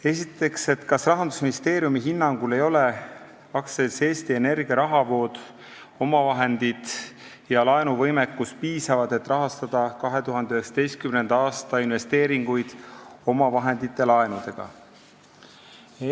Esimene küsimus: "Kas rahandusministeeriumi hinnangul ei ole AS Eesti Energia rahavood, omavahendid ja laenuvõimekus piisavad, et rahastada 2019. aasta investeeringuid omavahendite ja laenudega?